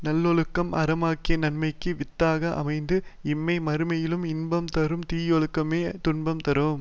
நல்லொழுக்கம் அறமாகிய நன்மைக்கு வித்தாக அமைந்து இம்மை மறுமையிலும் இன்பம் தரும் தீயொழுக்கமோ துன்பமே தரும்